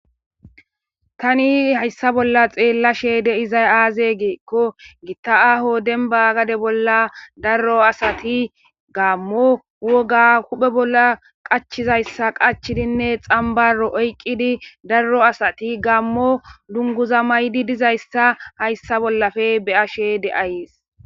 tani hayssa bolla xeella sheede izay aaze geekko gitta aho denba gade bolla darro asati gaammo woga huphe bolla qachizayssa qachidinne xambaro oyqqidi darro asati gaammo dunguza maydi dizayssa hayssa bollafe beya shede-ayees